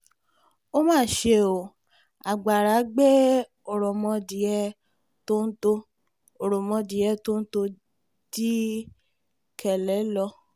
ó mà ṣe ó agbára gbé òròmọdìẹ̀ tọ́ńtò òròmọdìẹ̀ tọ́ńtò dikele lọ